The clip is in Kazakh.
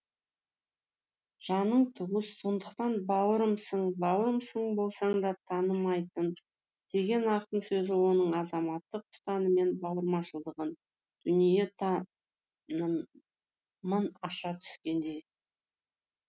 жаның туыс сондықтан бауырымсың бауырымсың болсаң да танымайтын деген ақын сөзі оның азаматтық ұстанымы мен бауырмашылдығын дүниетанымын аша түскендей